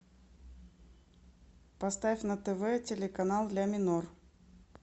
поставь на тв телеканал ля минор